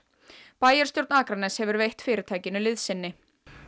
bæjarstjórn Akraness hefur veitt fyrirtækinu liðsinni